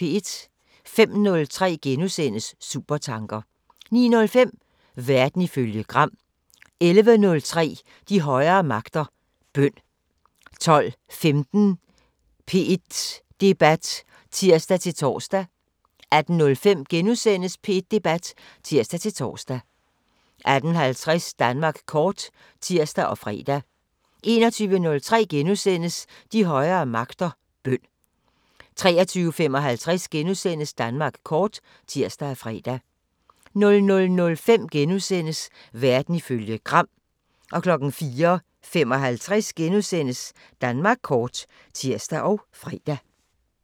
05:03: Supertanker * 09:05: Verden ifølge Gram 11:03: De højere magter: Bøn 12:15: P1 Debat (tir-tor) 18:05: P1 Debat *(tir-tor) 18:50: Danmark kort (tir og fre) 21:03: De højere magter: Bøn * 23:55: Danmark kort *(tir og fre) 00:05: Verden ifølge Gram * 04:55: Danmark kort *(tir og fre)